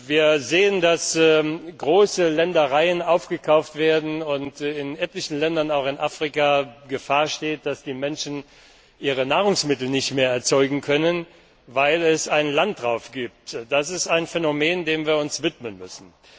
Wir sehen, dass große Ländereien aufgekauft werden und in etlichen Ländern, auch in Afrika, die Gefahr besteht, dass die Menschen ihre Nahrungsmittel nicht mehr erzeugen können, weil es einen Landraub gibt. Das ist ein Phänomen, dem wir uns widmen müssen.